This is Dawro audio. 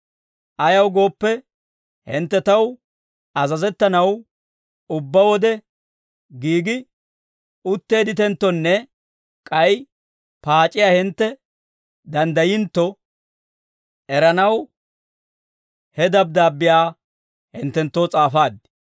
Ayaw gooppe, hintte taw azazettanaw ubbaa wode giigi utteedditenttonne k'ay paac'iyaa hintte danddayintto eranaw, he dabddaabbiyaa hinttenttoo s'aafaad.